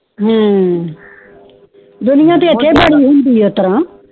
ਦੁਨੀਆਂ ਕਕ ਬੜੀ ਹੋਂਦੀ ਆ ਓਥਰਾ